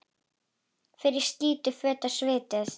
Fer í skítug föt, svituð.